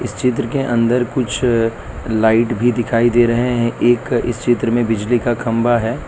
चित्र के अंदर कुछ लाइट भी दिखाई दे रहे हैं। एक इस चित्र में बिजली का खंबा है।